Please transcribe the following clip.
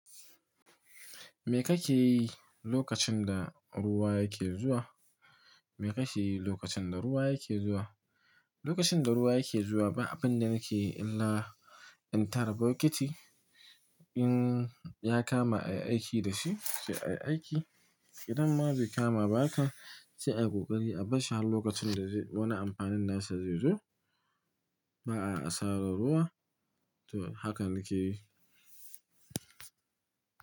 Me kake yi lokacin da ruwa yake zuwa? Me kake yi lokacin da ruwa yake zuwa? Lokacin da ruwa yake zuwa, ba abun da nake yi illa in tara bokiti. In ya kama a yi aiki da shi, sai a yi aiki. Idan ma bai kama ba haka, sai a kokari a bashi har lokacin da wani amfanin nasa zai zo. Ba a asarar ruwa. To haka nake yi.